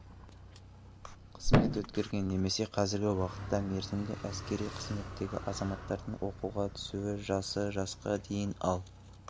қызмет өткерген немесе қазіргі уақытта мерзімді әскери қызметтегі азаматтардың оқуға түсу жасы жасқа дейін ал